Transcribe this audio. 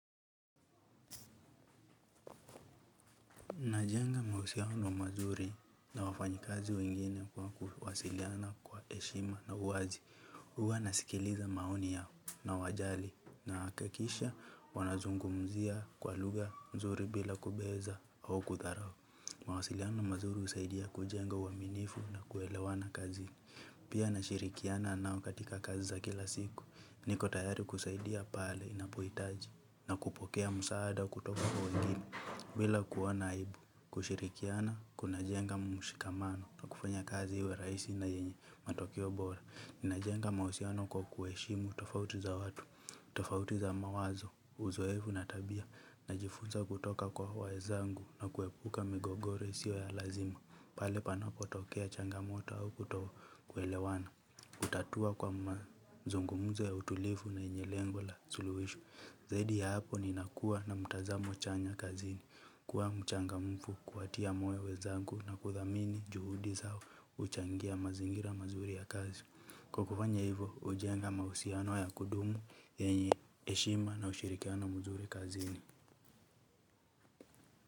Najenga mahusiano wa mazuri na wafanyikazi wengine kwa kuwasiliana kwa heshima na uwazi. Huwa nasikiliza maoni yao nawajali nahakikisha wanazungumzia kwa lugha mzuri bila kubeza au kudharao. Mawasiliano mazuri husaidia kujenga uaminifu na kuelewana kazi. Pia nashirikiana nao katika kazi za kila siku niko tayari kusaidia pale inapohitaji na kupokea msaada kutoka kwa wengine bila kuona aibu. Kushirikiana, kuna jenga mshikamano na kufanya kazi iwe rahisi na yenye matokeo bora. Ninajenga mahusiano kwa kuheshimu tofauti za watu, tofauti za mawazo, uzoefu na tabia. Najifunza kutoka kwa wenzangu na kuepuka migogoro isiyo ya lazima. Pale panopotokea changamoto au kutokwelewana kutatua kwa mazungumzo ya utulivu na yenye lengo la suluhisho. Zaidi hapo ninakua na mtazamo chanya kazini, kuwa mchangamfu, kuwatia moyo wenzangu na kuthamini juhudi zao huchangia mazingira mazuri ya kazi. Kwa kufanya hivo, hujenga mahusiano ya kudumu, yenye heshima na ushirikiani mzuri kazini.